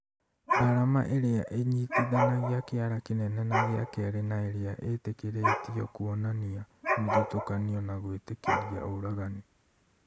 arama ĩrĩa ĩnyitithanagia kĩara kĩnene na gĩa kerĩ na ĩrĩa ĩtĩkĩrĩtio kũonania mũthutũkanio nagwĩtĩkĩria ũragani